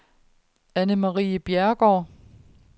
Annemarie Bjerregaard